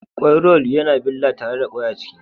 Kwai-roll yana billa tare da kwai a ciki